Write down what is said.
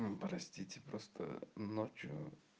простите просто ночью